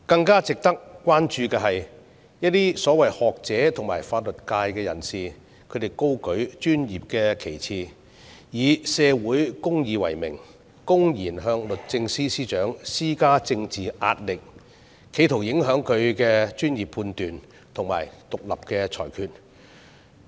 更值得關注的是，一些所謂學者和法律界人士高舉專業的旗幟，以社會公義為名，公然向律政司司長施加政治壓力，企圖影響其專業判斷和獨立裁決。